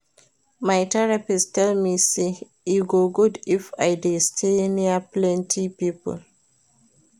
My therapist tell me say e go good if I dey stay near plenty people